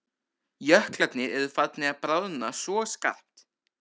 Jöklarnir eru farnir að bráðna svo skarpt.